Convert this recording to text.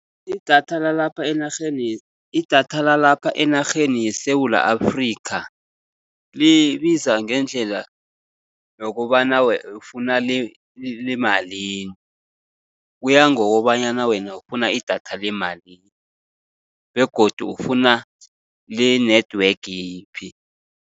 Idatha lalapha enarheni idatha lalapha enarheni yeSewula Afrikha, libiza ngendlela yokobana ufuna lemalini. Kuya ngokobanyana wena ufuna idatha lemalini begodu ufuna le-network yiphi.